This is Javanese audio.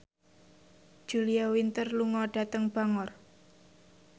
Julia Winter lunga dhateng Bangor